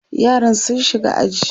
yaran sun shiga aji